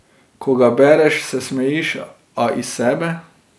Ko ga bereš, se smejiš, a iz sebe.